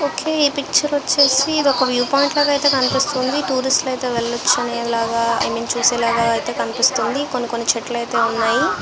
ఒకే ఈ పిక్చర్ వచేసి ఇదొక వ్యూ పాయింట్ లాగా కనిపెస్తునది టూరిస్ట్ అయితే వెళ్ళవచ్చు అనెలగా ఐ మీన్ చూసేలాగా అనిపిస్తుంది కొన్ని కొన్ని చెట్లు అయితే ఉన్నాయి.